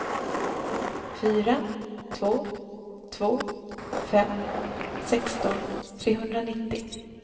fyra två två fem sexton trehundranittio